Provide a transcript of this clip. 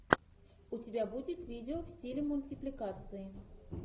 у тебя будет видео в стиле мультипликации